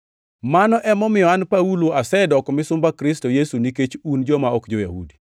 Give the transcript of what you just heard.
Mano emomiyo an Paulo asedoko misumba Kristo Yesu nikech un joma ok jo-Yahudi.